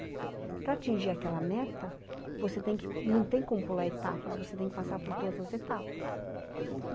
Para atingir aquela meta, você tem que, não tem como pular etapas, você tem que passar por todas as etapas.